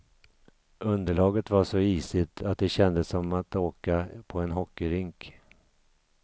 Underlaget var så isigt, att det kändes som att åka på en hockeyrink.